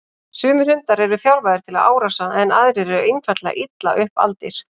Sumir hundar eru þjálfaðir til árása en aðrir eru einfaldlega illa upp aldir.